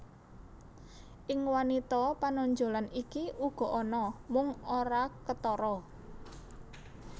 Ing wanita panonjolan iki uga ana mung ora ketara